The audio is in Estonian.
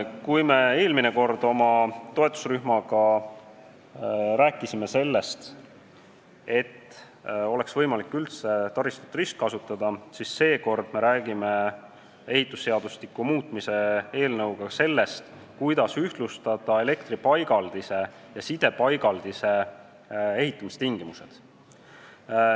Kui me eelmine kord rääkisime oma toetusrühmaga sellest, et taristut oleks võimalik üldse ristkasutada, siis seekord, ehitusseadustiku muutmise eelnõuga, me räägime sellest, kuidas ühtlustada elektripaigaldise ja sidepaigaldise ehitamistingimused.